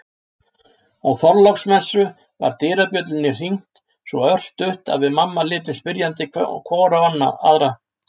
Á Þorláksmessu var dyrabjöllunni hringt svo örstutt að við mamma litum spyrjandi hvor á aðra.